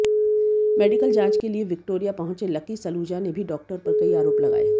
medical जांच के लिए विक्टोरिया पहुंचे लकी सलूजा ने भी डॉक्टर पर कई आरोप लगाए